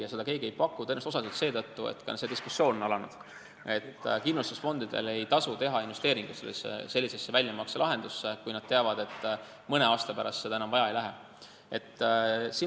Ja seda ei paku keegi tõenäoliselt osaliselt seetõttu – ka see diskussioon on alanud –, et kindlustusfondidel ei tasu teha investeeringuid sellisesse väljamakselahendusse, kui nad teavad, et mõne aasta pärast seda enam vaja ei lähe.